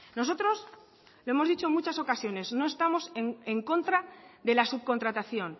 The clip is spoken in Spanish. nosotros lo hemos dicho en muchas ocasiones no estamos en contra de la subcontratación